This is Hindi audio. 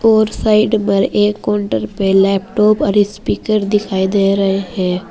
और साइड पर एक काउंटर पे लैपटॉप और स्पीकर दिखाई दे रहे हैं।